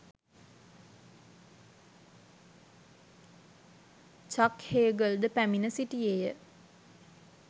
චක් Hagel ද පැමිණ සිටියේය.